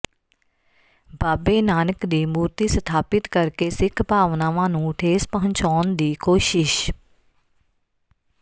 ਬਾਬੇ ਨਾਨਕ ਦੀ ਮੂਰਤੀ ਸਥਾਪਿਤ ਕਰ ਕੇ ਸਿੱਖ ਭਾਵਨਾਵਾਂ ਨੂੰ ਠੇਸ ਪਹੁੰਚਾਉਣ ਦੀ ਕੋਸ਼ਿਸ਼